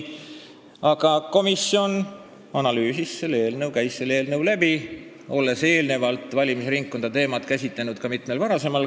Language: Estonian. Aga komisjon analüüsis seda eelnõu, ta käis selle läbi, olles eelnevalt valimisringkondade teemat mitmel korral käsitlenud.